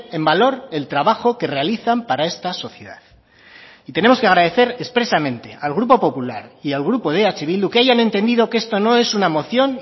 en valor el trabajo que realizan para esta sociedad y tenemos que agradecer expresamente al grupo popular y al grupo de eh bildu que hayan entendido que esto no es una moción